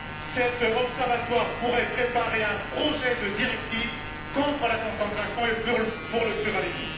Cet observatoire pourrait préparer un projet de directive contre la concentration et pour le pluralisme.